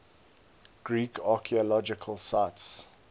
greek archaeological sites